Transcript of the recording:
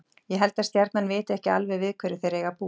Ég held að Stjarnan viti ekki alveg við hverju þeir eiga að búast.